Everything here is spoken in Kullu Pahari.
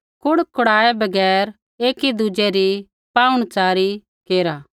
कुड़कुड़ाऐ बगैर एकी दुज़ै री पाहुणच़ारी केरा